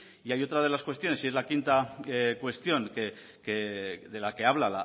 y hay otra de las cuestiones y es la quinta cuestión de la que habla